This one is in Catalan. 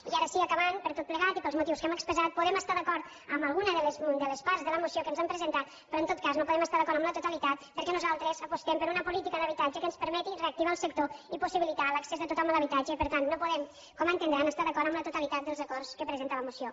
i ara sí acabant per tot plegat i pels motius que hem expressat podem estar d’acord amb alguna de les parts de la moció que ens han presentat però en tot cas no podem estar d’acord amb la totalitat perquè nosaltres apostem per una política d’habitatge que ens permeti reactivar el sector i possibilitar l’accés de tothom a l’habitatge i per tant no podem com entendran estar d’acord amb la totalitat dels acords que presenta la moció